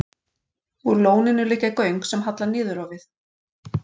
Úr lóninu liggja göng sem halla niður á við.